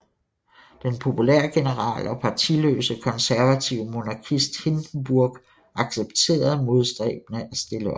Den populære general og partiløse konservative monarkist Hindenburg accepterede modstræbende at stille op